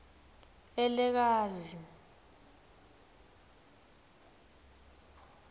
elekazi